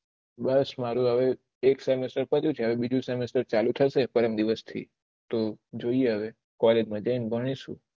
બસ મારું હવે પણ એક સેમેસ્ટર કર્યું છે હવે બીજું સેમેસ્ટર ચાલુ થશે પરમ દિવસ થી તો જોયીયે હવે કોલેજ માં જયીયે બનીશું